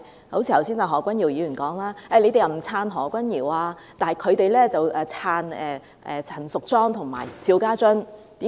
剛才何君堯議員指，他們說我們不"撐"何君堯，但他們會"撐"陳淑莊和邵家臻。